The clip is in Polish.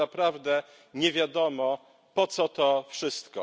Tylko naprawdę nie wiadomo, po co to wszystko.